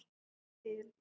Ég vil!